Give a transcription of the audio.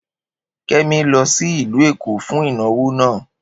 Kemi lọ sí ìlú Èkó fún ìnáwó náà